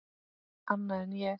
Annað en ég.